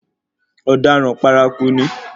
Ọ̀daràn paraku ni.